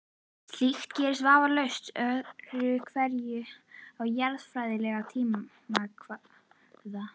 Slíkt gerist vafalaust öðru hverju á jarðfræðilegum tímakvarða.